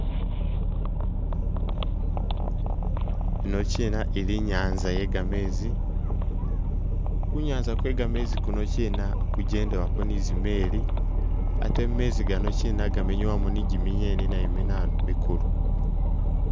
Yino kina ili i'nyaanza iye gameezi, ku nyaanza kwe gameezi kuno kina kujendewako ni zimeli ate gameezi gano kina gamenyewamo ni jimingeni nayo minanu mikulu.